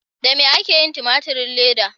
Da me ake yin tumaturin leda?